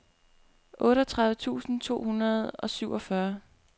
otteogtredive tusind to hundrede og syvogfyrre